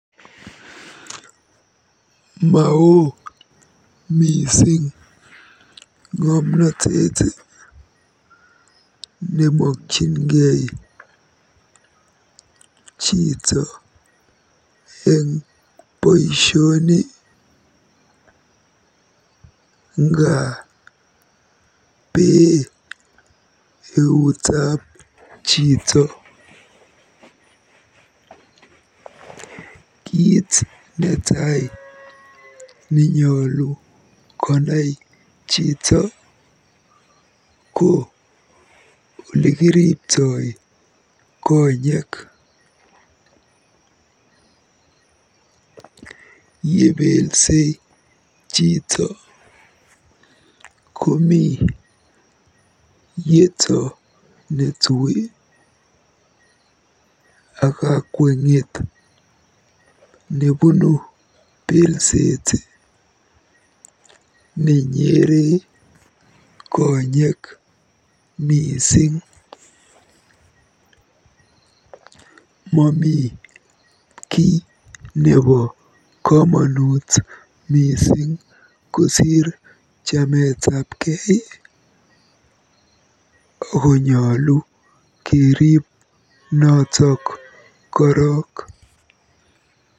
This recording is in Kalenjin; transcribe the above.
Maoo mising ng'omnotet nemokyingei chito eng boisioni nga bee eutab chito. Kiit netai nenyolu konai chito ko olekiriptoi konyeek. Yebelsei chito komi yeto netui ak kakweng'et nebunu belset nenyere konyek. Mami kiy nebo komonut kosiir chametapkei ako nyolu keriib notok korok.